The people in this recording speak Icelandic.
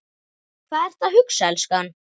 Hvað ertu að hugsa, elskan?